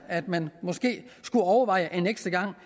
at man skulle overveje en ekstra gang